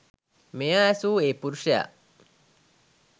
මෙය ඇසූ ඒ පුරුෂයා